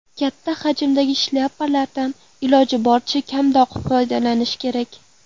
Katta hajmdagi shlyapalardan iloji boricha kamroq foydalanish kerak.